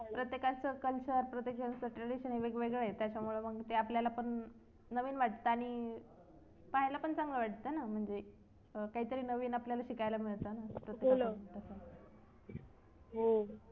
प्रत्येकाचा culture प्रत्येकाचा tradition हे वेगवेगळ्या आहे त्याच्यामुळे मग ते आपल्याला पण नवीन वाटतं आणि पाहायला पण चांगलं वाटतं म्हणजे काहीतरी नवीन आपल्याला शिकायला मिळतं ना हो